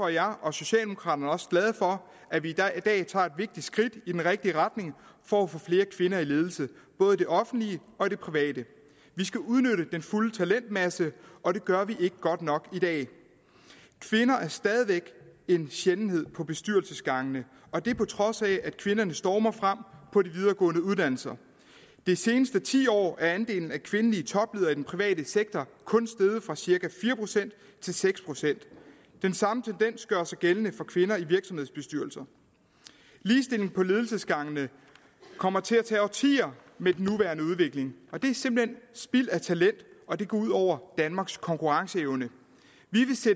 jeg og socialdemokraterne også glade for at vi i dag tager et vigtigt skridt i den rigtige retning for at få flere kvinder i ledelse både i det offentlige og i det private vi skal udnytte den fulde talentmasse og det gør vi ikke godt nok i dag kvinder er stadig væk en sjældenhed på bestyrelsesgangene og det er på trods af at kvinderne stormer frem på de videregående uddannelser det seneste tiår er andelen af kvindelige topledere i den private sektor kun steget fra cirka fire procent til seks procent den samme tendens gør sig gældende for kvinder i virksomhedsbestyrelser ligestilling på ledelsesgangene kommer til at tage årtier med den nuværende udvikling det er simpelt hen spild af talent og det går ud over danmarks konkurrenceevne